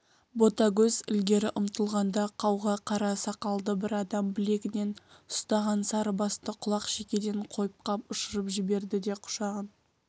ботагөз ілгері ұмтылғанда қауға қара сақалды бір адам білегінен ұстаған сарыбасты құлақ-шекеден қойып қап ұшырып жіберді де құшағын